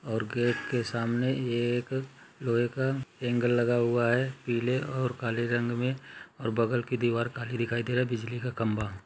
और गेट के सामने एक लोहे का हैंगर लगा हुआ है पीले और काले रंग मे ओर बगल की दीवार काली दिखाई दे रही है बिजली का खंभा --